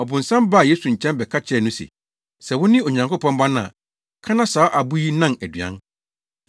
Ɔbonsam baa Yesu nkyɛn bɛka kyerɛɛ no se, “Sɛ wone Onyankopɔn Ba no a, ka na saa abo yi nnan aduan.”